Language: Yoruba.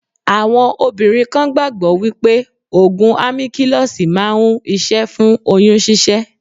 Àwọn obìnrin kan gbàgbó wípé Ògùn Àmíkílọ́sì máa ń iṣẹ́ fún oyún ṣíṣẹ́.